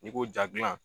N'i ko jaa gilan